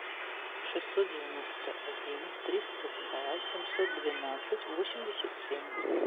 шестьсот девяносто один триста два семьсот двенадцать восемьдесят семь